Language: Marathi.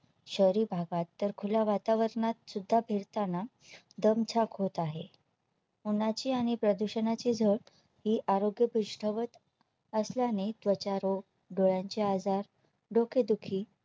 शहरी भागात तर खुल्या वातावरणात सुद्धा फिरताना दमछाक होत आहे उन्हाची आणि प्रदूषणा ची झळ ही आरोग्य पुष्ठा वत असल्याने त्वचारोग डोळ्यांचे आजार, डोकेदुखी